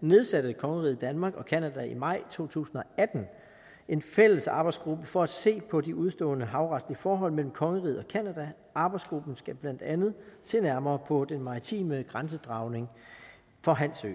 nedsatte kongeriget danmark og canada i maj to tusind og atten en fælles arbejdsgruppe for at se på de udestående havretlige forhold mellem kongeriget og canada arbejdsgruppen skal blandt andet se nærmere på den maritime grænsedragning for hans ø